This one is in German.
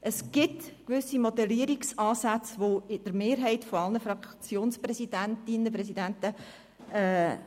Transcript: Es gibt gewisse Modellierungsansätze, die bei der Mehrheit aller Fraktionspräsidentinnen und Fraktionspräsidenten